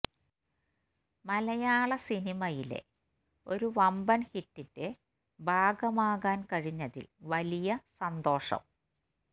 മലയാള സിനിമയിലെ ഒരു വമ്പൻ ഹിറ്റിന്റെ ഭാഗമാകാൻ കഴിഞ്ഞതിൽ വലിയ സന്തോഷം